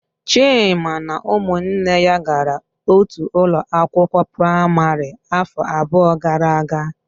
Chima na ụmụnne ya gara otu ụlọ akwụkwọ praịmarị afọ abụọ gara aga.